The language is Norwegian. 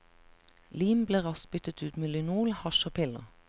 Lim ble raskt byttet ut med lynol, hasj og piller.